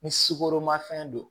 Ni sukoromafɛn don